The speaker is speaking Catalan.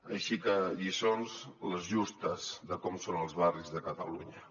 així que lliçons les justes de com són els barris de catalunya